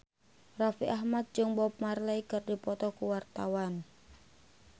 Raffi Ahmad jeung Bob Marley keur dipoto ku wartawan